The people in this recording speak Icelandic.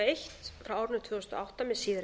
eitt tvö þúsund og átta með síðari